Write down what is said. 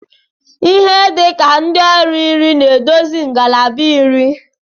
Ihe dị ka ndị ọrụ iri na-edozi ngalaba nri